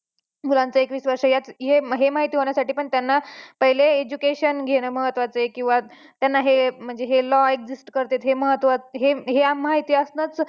मुलांचं एकवीस वर्षे हे माहिती होण्यासाठिपण त्यांना पहिले education घेणं महत्त्वाचं आहे किंवा त्यांना हे म्हणजे हे law exist कर्तेत हे महत्त्वाचं हे माहिती आसनंच